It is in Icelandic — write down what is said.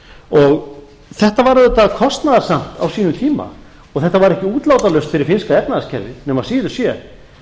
og þetta var auðvitað kostnaðarsamt á sínum tíma og þetta var ekki útlátalaust fyrir finnska efnahagskerfið nema síður sé